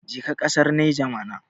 ka je kasar niger mana